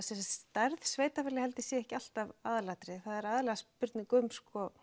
stærð sveitarfélaga sé ekki alltaf aðalatriðið það er aðallega spurning um